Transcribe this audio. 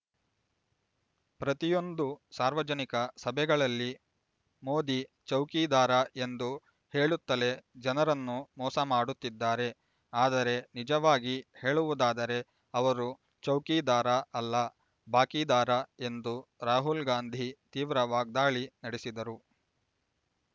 ಪ್ರತಿಯೊಂದು ಸಾರ್ವಜನಿಕ ಸಭೆಗಳಲ್ಲಿ ಮೋದಿ ಚೌಕಿದಾರ ಎಂದು ಹೇಳುತ್ತಲೇ ಜನರನ್ನು ಮೋಸ ಮಾಡುತ್ತಿದ್ದಾರೆ ಆದರೆ ನಿಜವಾಗಿ ಹೇಳುವುದಾದರೇ ಅವರು ಚೌಕಿದಾರ ಅಲ್ಲ ಬಾಕಿದಾರ ಎಂದು ರಾಹುಲ್ ಗಾಂಧಿ ತೀವ್ರ ವಾಗ್ದಾಳಿ ನಡೆಸಿದರು